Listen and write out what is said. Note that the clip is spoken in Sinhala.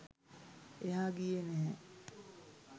එහා ගියේ නැහැ.